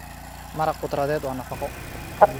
Maraq khudradeed waa nafaqo.